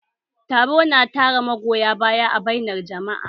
Taro na tara magoya baya a bainar jama'a